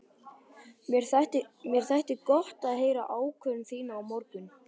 Mér þætti gott að heyra ákvörðun þína á morgun.